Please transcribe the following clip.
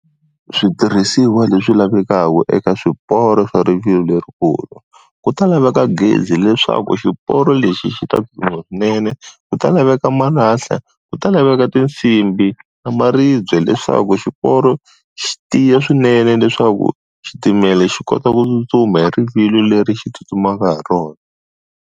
Switirhisiwa leswi lavekaka eka swiporo swa rivilo lerikulu ku ta laveka gezi leswaku xiporo lexi xi ta swinene, ku ta laveka malahla, ku ta laveka tinsimbhi na maribye leswaku xiporo xi tiya swinene leswaku xitimela xi kota ku tsutsuma hi rivilo leri xi tsutsumaka hi rona.